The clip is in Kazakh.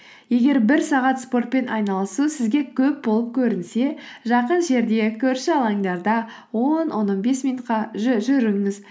егер бір сағат спортпен айналысу сізге көп болып көрінсе жақын жерде көрші алаңдарда он он бес минутқа жүріңіз